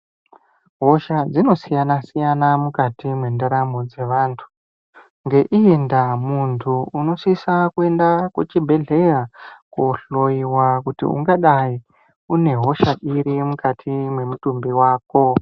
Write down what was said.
Hosha dzinosiyana siyana mukati mentaramo dzevantu, ngeiyindava muntu unosisa kuenda kuchibhedleya kohloyiwa kuti ungadai unehosha irimukati memutumbi wako.